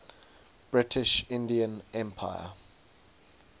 british indian empire